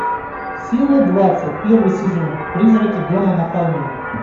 серия двадцать первый сезон призраки дома на холме